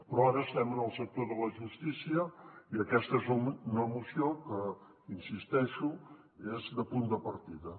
però ara estem en el sector de la justícia i aquesta és una moció que hi insisteixo és de punt de partida